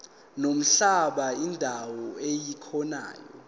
nomhlaba indawo ekuyona